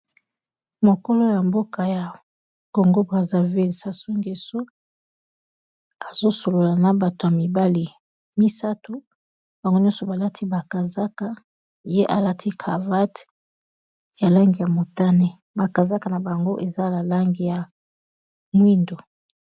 Mokolo ya mboka ya Congo Brazzaville Sassou Ngeso azosolola na bato ya mibale misato bango nyonso balati ba kazaka ye alati cravate ya langi ya motane ba kazaka na bango eza ya langi ya mwindo.